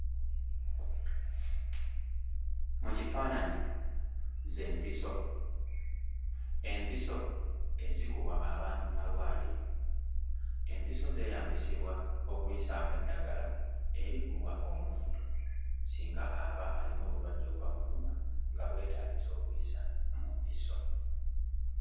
Mu kifaananyi ze mpiso, empiso ezikubwa abantu mmalwaliro. Empiso zeeyambisibwa okuyisaamu eddagala erikubwa omuntu singa aba alina obulwadde obuba bululuma nga bwetaagisa okuyisa mu mpiso.